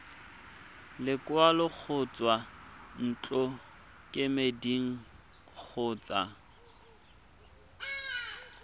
lekwalo go tswa ntlokemeding kgotsa